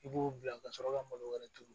I b'o bila ka sɔrɔ ka malo wɛrɛ turu